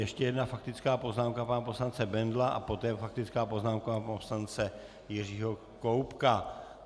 Ještě jedna faktická poznámka pana poslance Bendla a poté faktická poznámka pana poslance Jiřího Koubka.